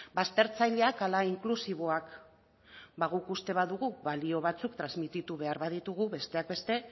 baztertzaileak ala inklusiboak ba guk uste badugu balio batzuk transmititu behar baditugu besteak beste